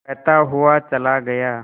कहता हुआ चला गया